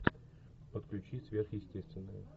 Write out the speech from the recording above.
подключи сверхъестественное